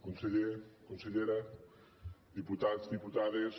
conseller consellera diputats diputades